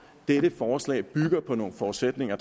dette forslag bygger på nogle forudsætninger